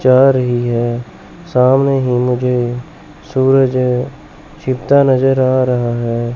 जा रही है सामने ही मुझे सूरज है छिपता नजर आ रहा है।